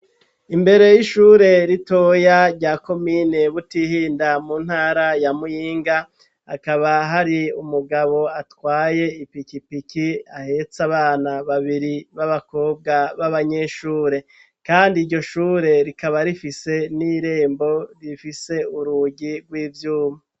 Imbere y'ishure ritoya rya komine Butihinda mu ntara ya Muyinga hakaba hari umugabo atwaye ipikipiki ahetse abana babiri b'abakobwa b'abanyeshure kandi iryo shure rikaba rifise n'irembo rifise urugi rw'ivyuma.